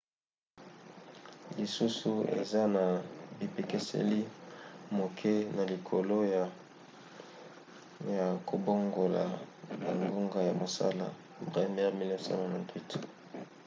lisusu eza na bipekiseli moke na likoki ya kobongola bangonga ya mosala. bremer 1998